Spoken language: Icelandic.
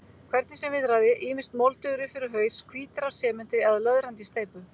Hvernig sem viðraði, ýmist moldugir upp fyrir haus, hvítir af sementi eða löðrandi í steypu.